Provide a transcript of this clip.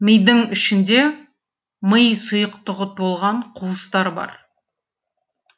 мидың ішінде ми сұйықтығы толған қуыстар бар